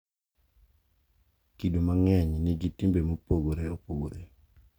Kido mang’eny nigi timbe mopogore opogore,